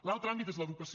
l’altre àmbit és l’educació